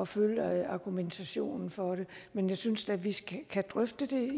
at følge argumentationen for det men jeg synes da vi kan drøfte det